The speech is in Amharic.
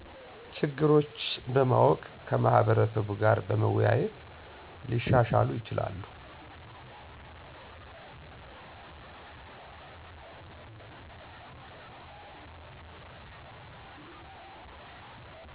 ችግሮች በማወቅ ከማህበረሰቡ ጋር በመወያየት ሊሻሻሉ ይችላሉ።